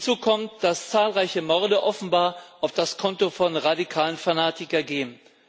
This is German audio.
Hinzu kommt, dass zahlreiche Morde offenbar auf das Konto von radikalen Fanatikern gehen.